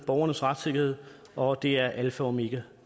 borgernes retssikkerhed og det er alfa og omega